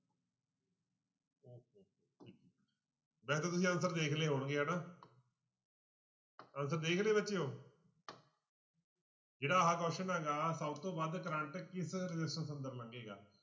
ਵੈਸੇ ਤਾਂ ਤੁਸੀਂ answer ਦੇਖ ਲਏ ਹੋਣਗੇ ਹਨਾ answer ਦੇਖ ਲਏ ਬੱਚਿਓ ਜਿਹੜਾ ਆਹ question ਹੈਗਾ ਸਭ ਤੋਂ ਵੱਧ ਕਰੰਟ ਕਿਸ resistance ਅੰਦਰ ਲੰਗੇਗਾ।